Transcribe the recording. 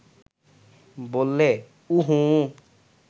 বললে, উঃ হুঁহুঁ